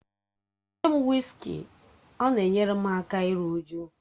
Nye m wịskị, ọ na-enyere aka iru újú